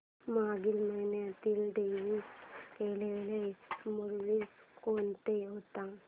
मागील महिन्यात डिलीट केलेल्या मूवीझ कोणत्या होत्या